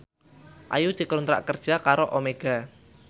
Ayu dikontrak kerja karo Omega